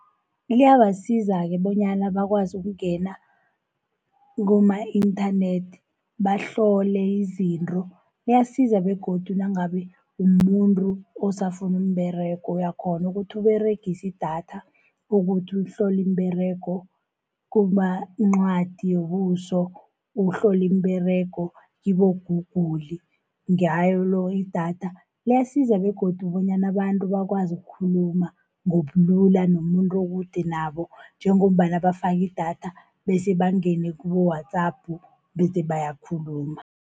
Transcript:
Liyabasiza-ke bonyana bakwazi ukungena kuboma-internet, bahlole izinto. Liyasiza begodu nangabe umuntu osafuna umberego. Uyakghona ukuthi Uberegise idatha ukuthi uhloli iimberego. Ukuba incwadi yombuso, uhloli imiberego kibo-Google ngalo idatha. Liyasiza begodu bonyana abantu bakwazi ukhuluma, ngobulula nomuntu okude nabo, njengombana bafaka idatha, bese bangene kubo-WhatsApp bese bayakhuluma.